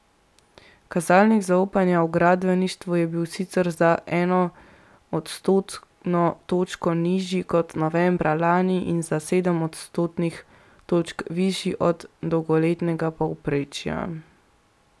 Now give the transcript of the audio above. Kazalnik zaupanja v gradbeništvu je bil sicer za eno odstotno točko nižji kot novembra lani in za sedem odstotnih točk višji od dolgoletnega povprečja.